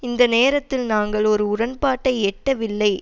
இந்த நேரத்தில் நாங்கள் ஒரு உடன்பாட்டை எட்டவில்லை